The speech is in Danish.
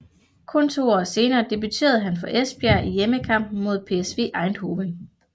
Kun to år senere debuterede han for Esbjerg i hjemmekampen mod PSV Eindhoven